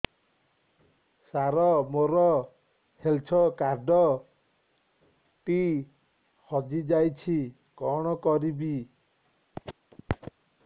ସାର ମୋର health card ଟି ହଜି ଯାଇଛି କଣ କରିବି